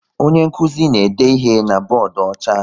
Onye nkụzi na-ede ihe na bọọdụ ọcha